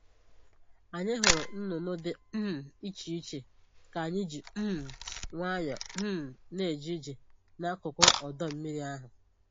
Anyị hụrụ nnụnụ dị um iche iche ka anyị ji um nwayọọ um na-eje ije n'akụkụ ọdọ mmiri ahụ